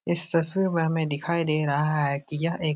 इस तस्वीर में हमें दिखाई दे रहा है कि यह एक --